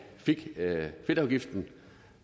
fik fedtafgiften